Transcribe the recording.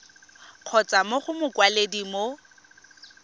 kgotsa mo go mokwaledi mo